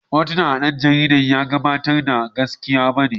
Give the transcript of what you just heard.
Hotunan da ɗan jaridar ya gabatar ba gaskiya bane.